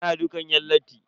Ana dukan yan latti.